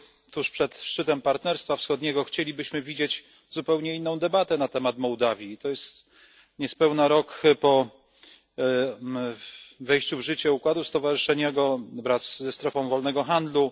Tuż przed szczytem Partnerstwa Wschodniego chcielibyśmy widzieć zupełnie inną debatę na temat Mołdawii i to jest niespełna rok po wejściu w życie układu stowarzyszeniowego wraz ze strefą wolnego handlu.